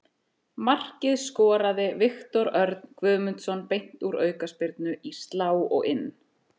Markið skoraði Viktor Örn Guðmundsson beint úr aukaspyrnu, í slá og inn.